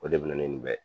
O de bɛ na ni nin bɛɛ ye